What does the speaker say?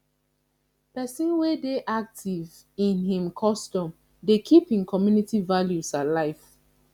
pesin wey dey active in im custom dey keep im community values alive